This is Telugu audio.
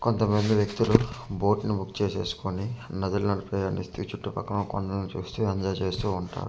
కొంత మంది వ్యక్తులు బోట్ ని బుక్ చేసేసుకొని నదులు నడిపే ఆయని ఇస్తే ఈ చుట్టూ పక్క కొండలను చూస్తూ ఏంజాయ్ చేస్తూ ఉంటారు .]